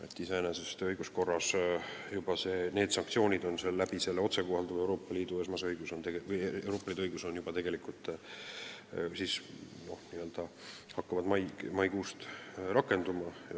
Nii et iseenesest hakkavad õiguskorras need sanktsioonid juba otsekohaldatava Euroopa Liidu õiguse alusel maikuust rakenduma.